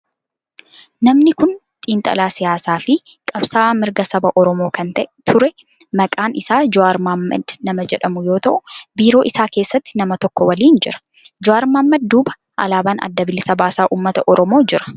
Namni kun xiinxalaa siyaasaa fi qabsa'aa mirga saba oromoo kan ture maqaan isaa Jawaar Mohaammed nama jedhamu yoo ta'u biiroo isaa keessatti nama tokko waliin jira. Jawaar Mohaammed duuba alaabaan adda bilisa baasaa ummata Oromoo jira.